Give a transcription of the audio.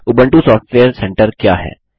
Ubuntu software centre क्या है